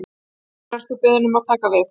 Hvenær ert þú beðinn að taka við?